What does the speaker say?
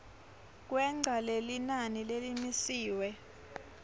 kwengca lelinani lelimisiwe